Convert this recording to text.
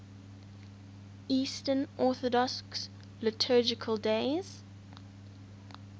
eastern orthodox liturgical days